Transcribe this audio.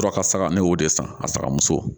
Sɔrɔ ka saga ne y'o de san a sakamuso